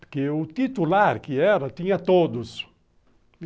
Porque o titular que era, tinha todos.